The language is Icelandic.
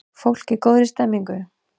Fólk í góðri stemningu!